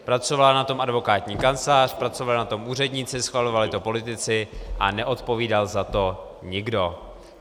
Pracovala na tom advokátní kancelář, pracovali na tom úředníci, schvalovali to politici a neodpovídal za to nikdo.